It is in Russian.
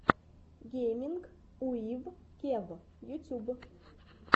гейминг уив кев ютьюб